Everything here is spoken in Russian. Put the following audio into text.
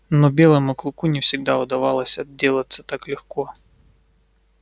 но белому клыку не всегда удавалось отделаться так легко